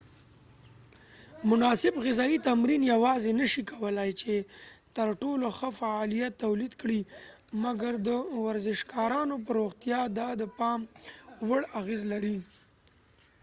مناسب غذایې تمرین یواځی نه شي کولای چې ترټولو ښه فعالیت تولید کړي مګر د ورزشکارانو په روغتیا دا د پام وړ اغیز لري